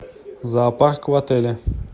зоопарк в отеле